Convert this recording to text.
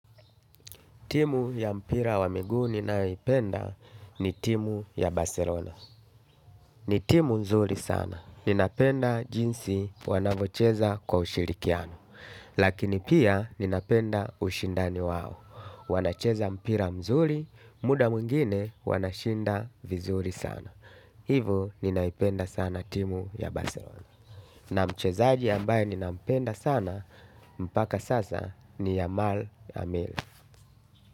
Timu ya mpira wa miguu ninayoipenda ni timu ya Barcelona. Ni timu nzuri sana. Ninapenda jinsi wanavocheza kwa ushirikiano. Lakini pia ninapenda ushindani wao. Wanacheza mpira mzuri, muda mwingine wanashinda vizuri sana. Hivo ninaipenda sana timu ya Barcelona. Na mchezaji ambaye ninampenda sana mpaka sasa ni Yamal Amel.